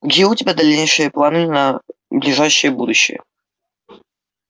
какие у тебя дальнейшие планы на ближайшее будущее